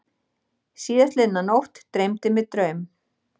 Síðastliðna nótt dreymdi mig draum.